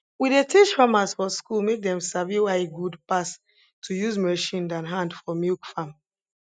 we dey teach farmers for school make dem sabi why e good pass to use machine than hand for milk farm